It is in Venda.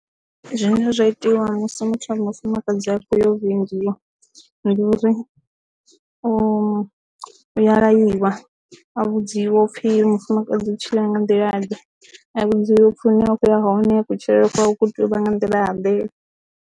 Zwine zwa itiwa musi muthu a tshi mufumakadzi akho yo vhingiwa ndi uri u ya laiwa a vhudziwa upfhi mufumakadzi u tshila nga nḓila nnzhi a vhudziwa upfi hune a khou ya hone kutshilele pfha hu tea u vha nga nḓila ḓe.